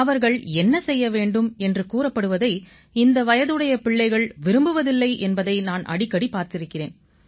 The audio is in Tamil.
அவர்கள் என்ன செய்ய வேண்டும் என்று கூறப்படுவதை இந்த வயதுடைய பிள்ளைகள் விரும்புவதில்லை என்பதை நான் அடிக்கடி பார்த்திருக்கிறேன்